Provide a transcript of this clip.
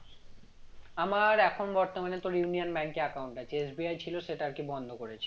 আমার এখন তোর বর্তমানে union bank এ account আছে SBI ছিল সেটা আর কি বন্ধ করেছি